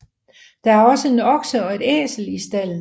Der er også en okse og et æsel i stalden